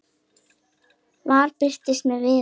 Vala birtist með Viðari.